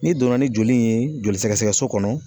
N'i donna ni joli in ye joli sɛgɛsɛgɛ so kɔnɔ